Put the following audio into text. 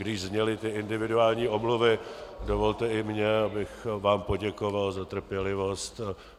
Když zněly ty individuální omluvy, dovolte i mně, abych vám poděkoval za trpělivost.